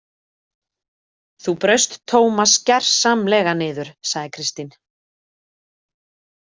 Þú braust Tómas gersamlega niður, sagði Kristín.